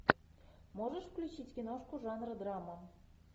можешь включить киношку жанра драма